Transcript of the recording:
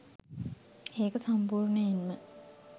ඒක සම්පූර්ණයෙන්ම